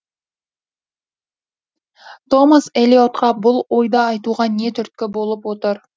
томас элиотқа бұл ойды айтуға не түрткі болып отыр